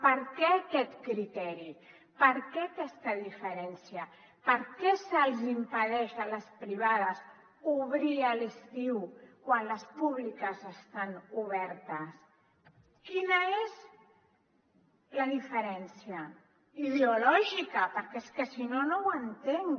per què aquest criteri per què aquesta diferència per què se’ls impedeix a les privades obrir a l’estiu quan les públiques estan obertes quina és la diferència ideològica perquè és que si no no ho entenc